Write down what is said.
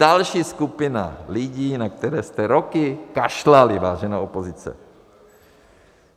Další skupina lidí, na které jste roky kašlali, vážená opozice.